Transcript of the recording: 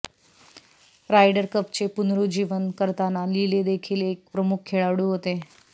rider कपचे पुनरुज्जीवन करताना लिले देखील एक प्रमुख खेळाडू होते